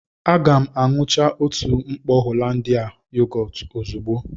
Aga m aṅucha otu mkpọ Hollandia yogọọtu ozugbo